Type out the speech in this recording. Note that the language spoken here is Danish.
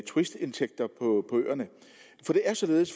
turistindtægter på øerne